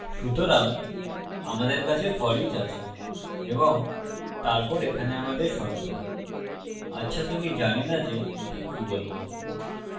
সুতরাং আমাদের কাছে foreach আছে এবং তারপর এখানে আমাদের শর্ত আচ্ছা to আমি জানি so যে একে কি বলবো